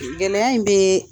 Gɛlɛya in bɛ